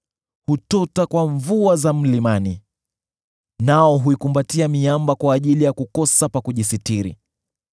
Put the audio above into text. Hutota kwa mvua za mlimani, nao huikumbatia miamba kwa ajili ya kukosa pa kujisitiri.